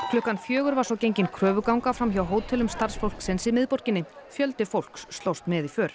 klukkan fjögur var gengin kröfuganga fram hjá hótelum starfsfólksins í miðborginni fjöldi fólks slóst með í för